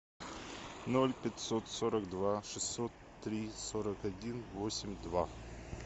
ноль пятьсот сорок два шестьсот три сорок один восемь два